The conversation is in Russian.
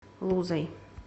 лузой